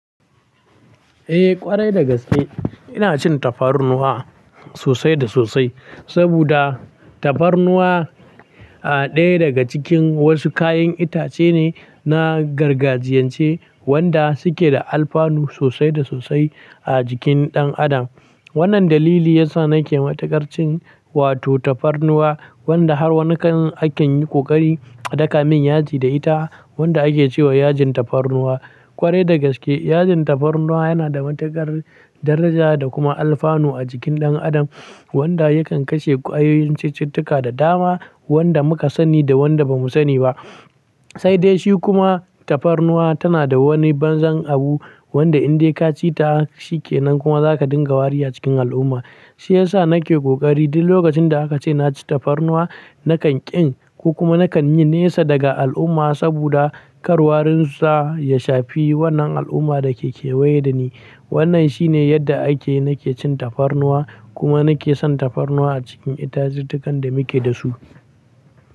Eh ƙwarai dagaske ina cin tafarnuwa sosai da sosai. Saboda tafarnuwa a daya daga cikin wasu kayan itace ne, na gargajiyance wanda suke da alfanu sosai da sosai a jikin ɗan adam. Wannan dalili yasa nake matukar cin wato tafarnuwa wanda har wani kan aken yi ƙoƙari a daka min yaji da ita wanda ake ce wa yajin tafarnuwa. Ƙwarai dagaske yajin tafarnuwa yana da matuƙar daraja da kuma alfanu a jikin ɗan adam wanda yakan kashe ƙwayoyin cututtuka da dama wanda muka sani da wanda bamu sani ba. Sai dai shi kuma tafarnuwa tana da wani banzan abu wanda in dai ka ci ta shikenan kuma zaka dinga wari a cikin al'umma. Shi yasa nake ƙoƙari duk lokacin da aka ce na ci tafarnuwa nakan ƙin ko kuma nakan yi nesa daga al'umma saboda kar warinsa ya shafi wannan al'umma da ke kewaye dani. Wannan shine yadda ake nake cin tafarnuwa kuma nake son tafarnuwa a cikin itatuwan da muke dasu.